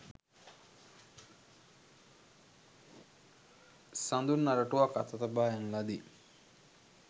සඳුන් අරටුවක් අත තබා යන ලදී.